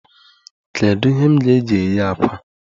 Kedu ihe m ga-eji ghee àkwá?